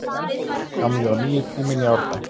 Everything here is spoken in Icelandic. Gamli og nýi tíminn í Árbæ